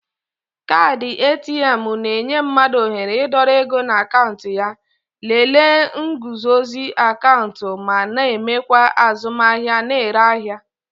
Kaadị ATM na-enye mmadụ ohere ịdọrọ ego na akaụntụ ya, lelee nguzozi akaụntụ ma na-emekwa azụmahịa na-ere ahịa